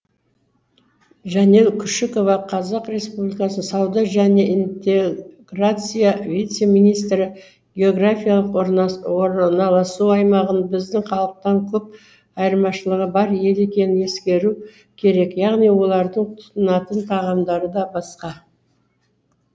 жанел күшікова қазақ республикасының сауда және интеграция вице министрі географиялық орналасу аймағы біздің халықтан көп айырмашылығы бар ел екенін ескеру керек яғни олардың тұтынатын тағамдары да басқа